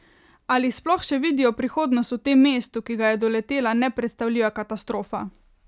Ali sploh še vidijo prihodnost v tem mestu, ki ga je doletela nepredstavljiva katastrofa?